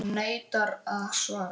PÁLL: Hún neitar að svara.